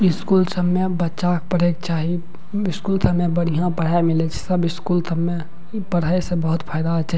इ स्कूल सब मे बच्चा के पढ़े के चाही स्कूल सब मे बढ़िया पढ़ाय मिलय छै सब स्कूल सब मे इ पढ़य से बहुत फायदा हेय छै।